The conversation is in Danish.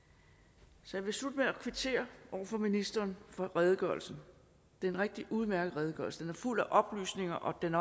så jeg vil slutte med at kvittere over for ministeren for redegørelsen det er en rigtig udmærket redegørelse den er fuld af oplysninger og den